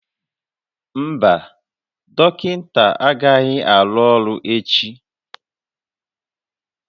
Mba, dọkịta agaghị arụ ọrụ echi